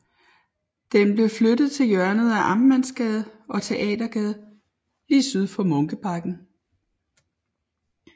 Den blev flyttet til hjørnet af Amtsmandsgade og Teatergade lige syd for Munkebakken